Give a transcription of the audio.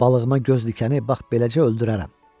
Balığıma göz dikəni bax beləcə öldürərəm.